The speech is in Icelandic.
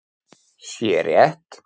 sé rétt.